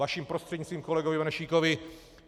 Vaším prostřednictvím kolegovi Benešíkovi.